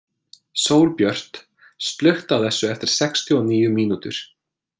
Sólbjört, slökktu á þessu eftir sextíu og níu mínútur.